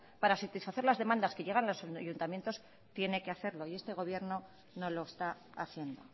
para satisfacer las demandas que llegan a su ayuntamiento tiene que hacerlo y este gobierno no lo está haciendo